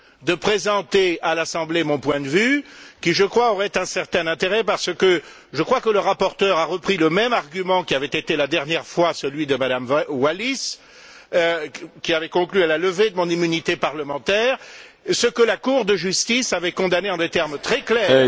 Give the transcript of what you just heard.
de présenter à l'Assemblée mon point de vue qui, je crois, aurait un certain intérêt parce qu'il me semble que le rapporteur a repris le même argument qui avait été la dernière fois celui de Mme Wallis, qui avait conclu à la levée de mon immunité parlementaire, ce que la Cour de justice avait condamné en des termes très clairs.